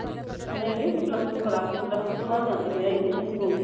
ਨਹੀਂ ਨਹੀਂ ਅਸੀਂ plus two ਕਰਾ ਕੇ plus two ਤੋਂ ਬਾਅਦ ਜਾਂਦੇ graduation ਕਿਉਂ ਜੀ